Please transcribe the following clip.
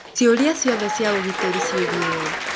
Ciũria ciothe cia ũgitĩri ciĩgiĩ we